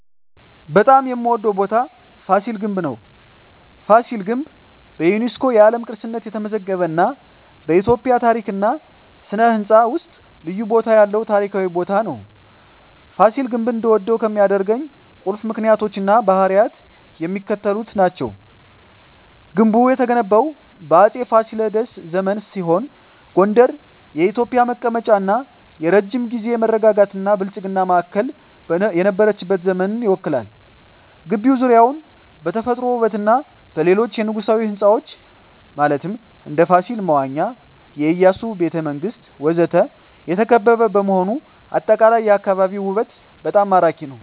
በጣም የምዎደው ቦታ ፋሲል ግንብ ነው። ፋሲል ግንብ በዩኔስኮ የዓለም ቅርስነት የተመዘገበ እና በኢትዮጵያ ታሪክ እና ሥነ ሕንፃ ውስጥ ልዩ ቦታ ያለው ታሪካዊ ቦታ ነው። ፋሲል ግንብ እንድወደው ከሚያደርኝ ቁልፍ ምክንያቶች እና ባህሪያት የሚከተሉት ናቸው። ግንቡ የተገነባው በአፄ ፋሲለደስ ዘመን ሲሆን ጎንደር የኢትዮጵያ መቀመጫ እና የረጅም ጊዜ መረጋጋትና ብልጽግና ማዕከል የነበረችበትን ዘመን ይወክላል። ግቢው ዙሪያውን በተፈጥሮ ውበትና በሌሎች የንጉሣዊ ሕንፃዎች (እንደ ፋሲል መዋኛ፣ የኢያሱ ቤተ መንግስት ወዘተ) የተከበበ በመሆኑ አጠቃላይ የአካባቢው ውበት በጣም ማራኪ ነው። …